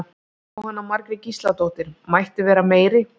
Jóhanna Margrét Gísladóttir: Mætti vera meiri?